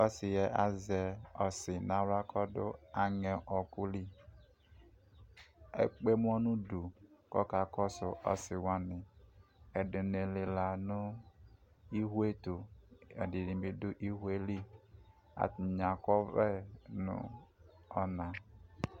ɔsiɛ azɛ ɔsì no ala ko ɔdo aŋɛ ɔku li ekpe ɛmɔ no udu ko ɔka kɔso ɔsi wani edi ni lela no iwo yɛ to edi ni bi do iwo yɛ li atani akɔ ɔvlɛ no ɔna